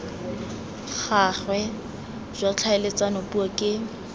gagwe jwa tlhaeletsano puo ke